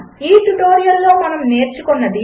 ఈ ట్యుటోరియల్లో మనము నేర్చుకున్నది 1